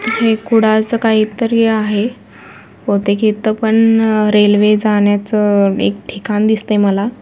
हे कुडाळ च काहीतरी आहे बहुतेक इथ पण रेल्वे जाण्याचं एक ठिकाण दिसती मला.